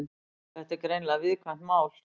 Þetta er greinilega viðkvæmt mál